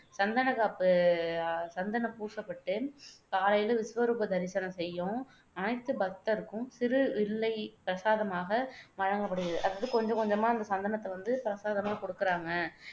சந்தனக்காப்பு அஹ் சந்தனம் பூசப்பட்டு காலையில விசுவரூப தரிசனம் செய்யும் அனைத்து பக்தருக்கும் சிறு வில்லை பிரசாதமாக வழங்கப்படுகிறது. அதாவது கொஞ்சம் கொஞ்சமா அந்த சந்தனத்தை வந்து பிரசாதமா கொடுக்குறாங்க